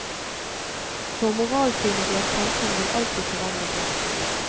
For moralsynet i et samfunn vil alltid forandre seg.